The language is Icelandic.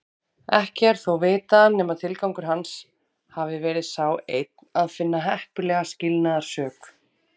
Ekki er þó vitað nema tilgangur hans hafi verið sá einn að finna heppilega skilnaðarsök.